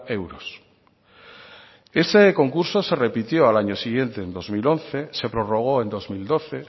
euros ese concurso se repitió al año siguiente en el dos mil once se prorrogó en dos mil doce